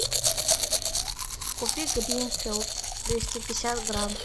купи гринфилд двести пятьдесят грамм